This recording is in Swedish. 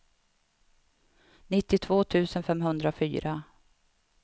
nittiotvå tusen femhundrafyra